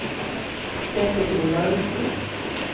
Kjetil Olaussen